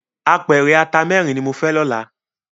Ápèrè àtá mèrin ni mó fè lòlá